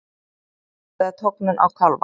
Þetta er tognun á kálfa.